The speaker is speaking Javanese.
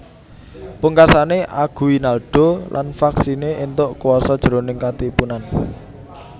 Pungkasané Aguinaldo lan faksiné éntuk kuwasa jroning Katipunan